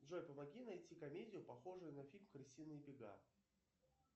джой помоги найти комедию похожую на фильм крысиные бега